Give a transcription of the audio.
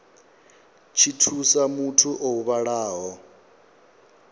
tshi thusa muthu o huvhalaho